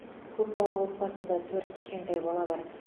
көп балалы отбасында төрт кішкентай бала бар